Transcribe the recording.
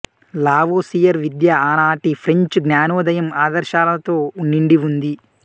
Lavoisier విద్య ఆనాటి French జ్ఞానోదయం ఆదర్శాలతో నిండి ఉంది